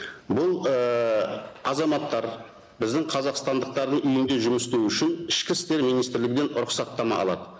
бұл ііі азаматтар біздің қазақстандықтардың үйінде жұмыс істеу үшін ішкі істер министрлігінен рұқсаттама алады